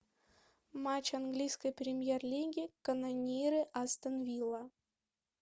матч английской премьер лиги канониры астон вилла